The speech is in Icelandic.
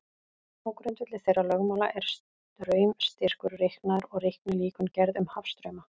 Á grundvelli þeirra lögmála er straumstyrkur reiknaður og reiknilíkön gerð um hafstrauma.